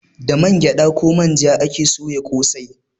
Da man gyada ko manja ake soya kosai